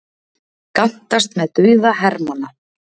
Gantast með dauða hermanna